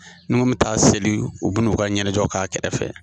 Ne ko bɛ taa seli, u bɛ nu ka ɲɛnajɛw k'a kɛrɛfɛ.